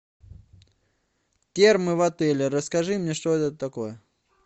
термы в отеле расскажи мне что это такое